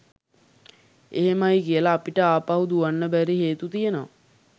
එහමයි කියල අපට ආපහු දුවන්න බැරි හේතු තියෙනව